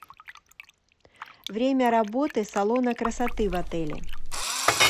время работы салона красоты в отеле